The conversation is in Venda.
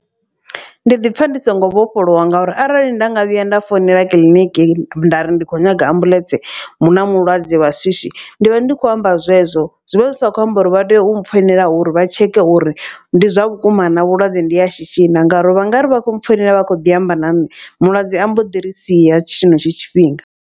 Ndi ḓipfa ndi songo vhofholowa ngauri arali nda nga vhuya nda founela kiḽiniki nda ri ndi kho nyaga ambuḽentse hu na mulwadze wa swiswi. Ndi vha ndi khou amba zwezwo zwi vha zwi sa kho amba uri vha tea u mpfhoinela uri vha tsheke uri ndi zwa vhukuma na vhulwadze ndi ha shishi na. Ngauri vha nga ri vha khou mpfhoinela vha kho ḓi amba na ṋne mulwadze a mbo ḓi ri sia tshenetsho tshifhinga.